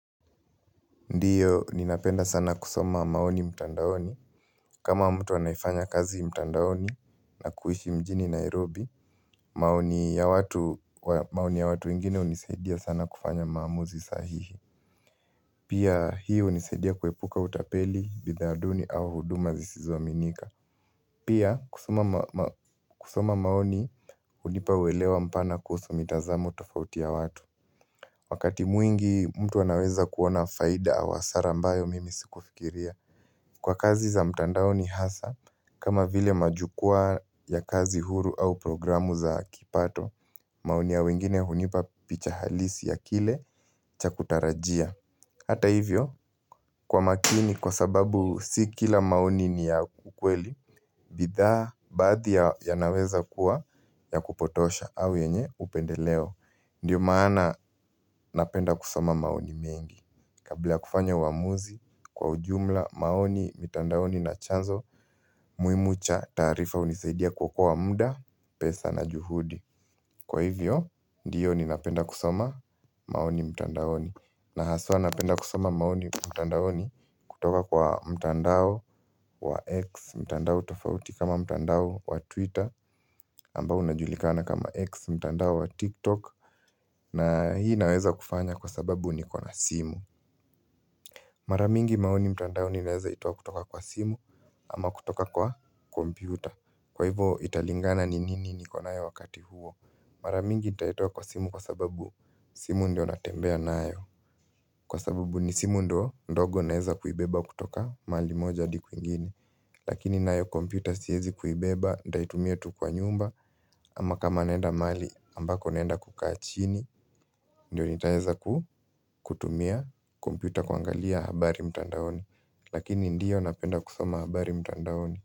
Ndiyo, ninapenda sana kusoma maoni mtandaoni. Kama mtu anayefanya kazi mtandaoni na kuishi mjini Nairobi, maoni ya watu wengine hunisaidia sana kufanya maamuzi sahihi. Pia hii hunisaidia kuepuka utapeli, bidhaa duni au huduma zisizoaminika. Pia, kusoma maoni hunipa uwelewa mpana kuhusu mitazamo tofauti ya watu. Wakati mwingi, mtu anaweza kuona faida wa hasara ambayo mimi sikufikiria. Kwa kazi za mtandaoni hasa, kama vile majukwa ya kazi huru au programu za kipato, maoni ya wengine hunipa picha halisi ya kile cha kutarajia. Hata hivyo, kwa makini kwa sababu si kila maoni ni ya ukweli, bidhaa baadhi yanaweza kuwa ya kupotosha au yenye upendeleo. Ndio maana napenda kusoma maoni mengi Kabla ya kufanya uamuzi kwa ujumla maoni mitandaoni na chanzo muhimu cha taarifa hunisaidia kuokoa muda pesa na juhudi Kwa hivyo, ndiyo ninapenda kusoma maoni mitandaoni na haswa napenda kusoma maoni mitandaoni kutoka kwa mtandao wa X mitandao tofauti kama mtandao wa Twitter ambao unajulikana kama X mtandao wa TikTok na hii inaweza kufanya kwa sababu niko na simu Mara mingi maoni mtandaoni naeza itoa kutoka kwa simu ama kutoka kwa kompyuta Kwa hivo italingana ni nini niko nayo wakati huo Mara mingi nitaitoa kwa simu kwa sababu simu ndio natembea nayo Kwa sababu ni simu ndio ndogo naeza kuibeba kutoka mahali moja adi kwingine Lakini nayo kompyuta siezi kuibeba nitaitumia tu kwa nyumba ama kama naenda mahali ambako naenda kukaa chini Ndio nitaeza kutumia kompyuta kuangalia habari mtandaoni Lakini ndiyo napenda kusoma habari mtandaoni.